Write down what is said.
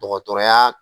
Dɔgɔtɔrɔya